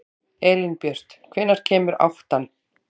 Elínbjört, hvenær kemur áttan?